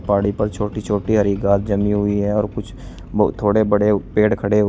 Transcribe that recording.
पहाड़ी पर छोटी छोटी हरी घास जमी हुई है और कुछ थोड़े बड़े पेड़ खड़े--